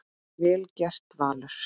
Vel gert, Valur.